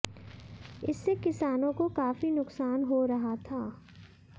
इससे किसानों को काफी नुकसान हो रहा था